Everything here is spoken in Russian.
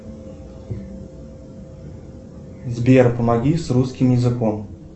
сбер помоги с русским языком